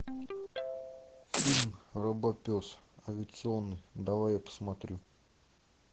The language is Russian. фильм робопес авиационный давай я посмотрю